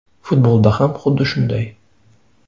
Futbolda ham xuddi shunday.